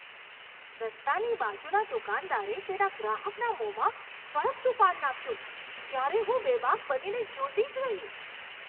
રસ્તાની બાજુના દુકાનદારે તેના ગ્રાહકના મોંમાં સળગતું પાન નાખ્યું ત્યારે હું બેબાક બનીને જોતી જ રહી.